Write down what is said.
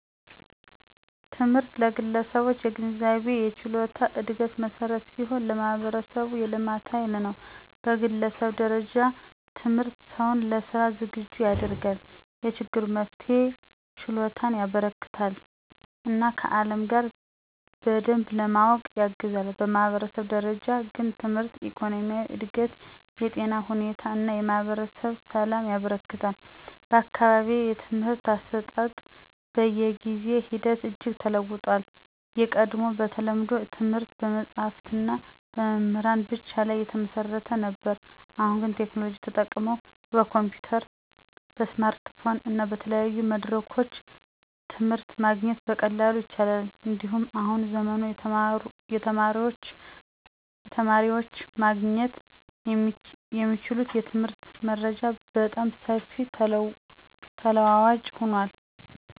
ትምህርት ለግለሰቦች የግንዛቤና የችሎታ እድገት መሠረት ሲሆን፣ ለማህበረሰቡም የልማት ኃይል ነው። በግለሰብ ደረጃ ትምህርት ሰውን ለሥራ ዝግጁ ያደርጋል፣ የችግር መፍትሄ ችሎታን ያበረከትለታል እና ከዓለም ጋር በግብ ለመዋወቅ ያግዛል። በማህበረሰብ ደረጃ ግን ትምህርት የኢኮኖሚ እድገትን፣ የጤና ሁኔታን እና የማህበረሰብ ሰላምን ያበረክታል። በአካባቢዬ የትምህርት አሰጣጥ በጊዜ ሂደት እጅግ ተለውጦአል። ቀድሞ በተለምዶ ትምህርት በመጽሀፍትና በመምህራን ብቻ ላይ የተመሰረተ ነበር። አሁን ግን ቴክኖሎጂ ተጠቅመው በኮምፒዩተር፣ በስማርትፎን እና በተለያዩ መድረኮች ትምህርት ማግኘት በቀላሉ ይቻላል። እንዲሁም በአሁኑ ዘመን የተማሪዎች ማግኘት የሚችሉት የትምህርት መረጃ በጣም ሰፊና ተለዋዋጭ ሆኗል።